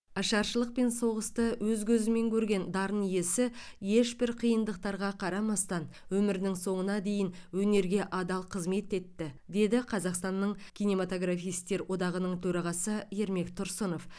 ашаршылық пен соғысты өз көзімен көрген дарын иесі ешбір қиындықтарға қарамастан өмірінің соңына дейін өнерге адал қызмет етті деді қазақстанның кинематографистер одағының төрағасы ермек тұрсынов